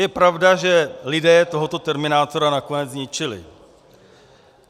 Je pravda, že lidé tohoto terminátora nakonec zničili.